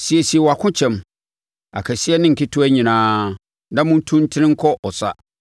“Siesie wʼakokyɛm, akɛseɛ ne nketewa nyinaa, na montu ntene nkɔ ɔsa!